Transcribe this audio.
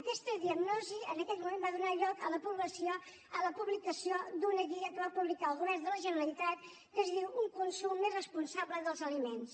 aquesta diagnosi en aquest moment va donar lloc a la publicació d’una guia que va publicar el govern de la generalitat que es diu un consum més responsable dels aliments